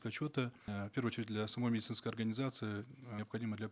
отчета э в первую очередь для самой медицинской организации необходимо для